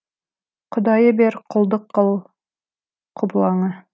құдайы бер құлдық қыл құбылаңа